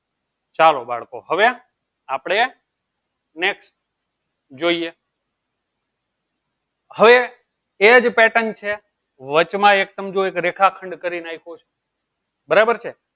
ચાલો બાળકો હવે આપણે next જોઈએ હવે એ જ pattern છે વચમાં એક્દમ જોઈ એક રેખાખંડ કરી નાખ્યું છે. બરાબર છે.